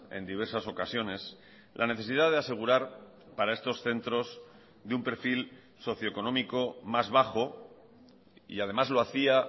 en diversas ocasiones la necesidad de asegurar para estos centros de un perfil socioeconómico más bajo y además lo hacía